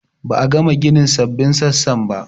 Ba a gama ginin sabbin sassan ba